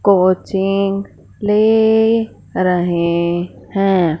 Coaching ले रहे हैं।